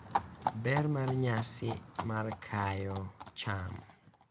Ber mar nyasi mar kayo cham